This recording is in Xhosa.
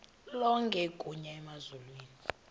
lonke igunya emazulwini